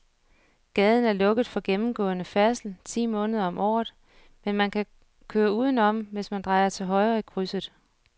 Gaden er lukket for gennemgående færdsel ti måneder om året, men man kan køre udenom, hvis man drejer til højre i krydset.